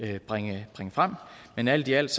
bringe frem men alt i alt